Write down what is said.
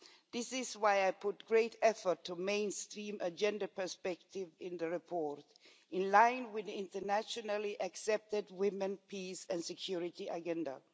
This is why I put great effort into mainstreaming the gender perspective in the report, in line with the internationally accepted Women, Peace and Security Agenda.